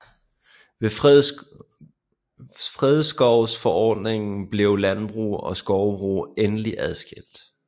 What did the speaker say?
Ved fredskovsforordningerne blev landbrug og skovbrug endelig adskilt